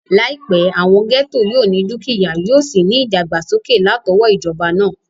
Láìpẹ́, àwọn gẹ́ẹ́tò yóò ní dúkìyá, yóò sì ní ìdàgbàsókè látọwọ́ ìjọba náà